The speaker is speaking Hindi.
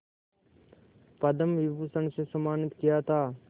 पद्म विभूषण से सम्मानित किया था